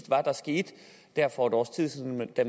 var der skete der for et års tid siden da